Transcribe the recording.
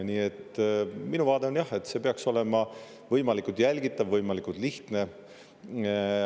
Nii et minu vaade on, jah, et see peaks olema võimalikult jälgitav, võimalikult lihtne.